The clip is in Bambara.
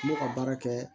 N bɛ ka baara kɛ